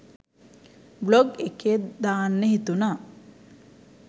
Blog එකේ දාන්න හිතුනා.